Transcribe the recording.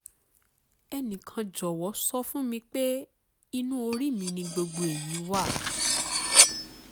ẹnìkan jọ̀wọ́ sọ fún mi pé inú orí mi ni gbogbo èyí wà